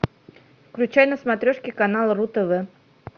включай на смотрешке канал ру тв